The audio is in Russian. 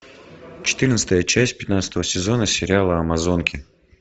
четырнадцатая часть пятнадцатого сезона сериала амазонки